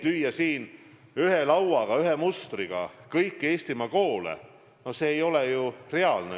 Lüüa siin ühe lauaga, ühe mustriga kõiki Eestimaa koole – no see ei ole ju reaalne.